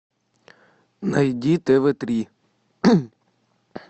найди тв три